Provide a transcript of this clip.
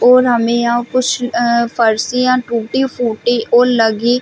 और हमें यहाँ कुछ फर्सिया टूटी-फूटी और लगी--